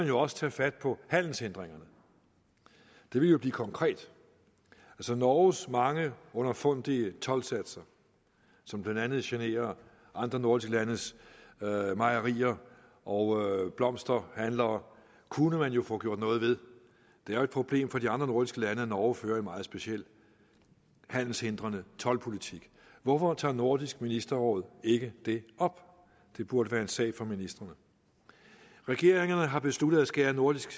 jo også tage fat på handelshindringerne det ville jo blive konkret norges mange underfundige toldsatser som blandt andet generer andre nordiske landes mejerier og blomsterhandlere kunne man jo få gjort noget ved det er et problem for de andre nordiske lande at norge fører en meget speciel handelshindrende toldpolitik hvorfor tager nordisk ministerråd ikke det op det burde være en sag for ministrene regeringerne har besluttet at skære nordisk